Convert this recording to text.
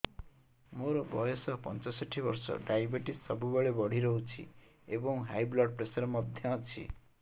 ମୋର ବୟସ ପଞ୍ଚଷଠି ବର୍ଷ ଡାଏବେଟିସ ସବୁବେଳେ ବଢି ରହୁଛି ଏବଂ ହାଇ ବ୍ଲଡ଼ ପ୍ରେସର ମଧ୍ୟ ଅଛି